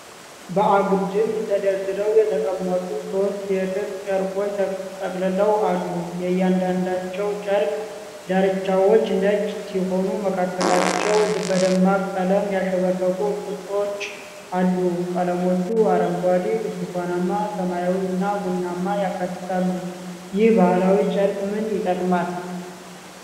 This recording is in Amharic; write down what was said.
በአግድም ተደርድረው የተቀመጡ ሦስት የጥጥ ጨርቆች ተጠቅልለው አሉ። የእያንዳንዳቸው ጨርቅ ዳርቻዎች ነጭ ሲሆኑ መካከላቸው በደማቅ ቀለም ያሸበረቁ ቅጦች አሉ። ቀለሞቹ አረንጓዴ፣ ብርቱካናማ፣ ሰማያዊ እና ቡናማን ያካትታሉ። ይህ ባህላዊ ጨርቅ ምን ይጠቅማል?